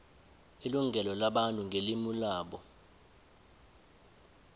ilungelo labantu ngelimu labo